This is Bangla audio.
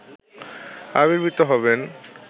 আবির্ভূত হবেন